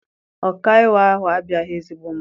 Ọkaiwu ahụ abụghị ezigbo mmadụ.